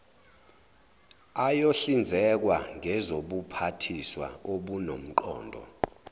ayohlinzekwa ngezobuphathiswa obunomqondo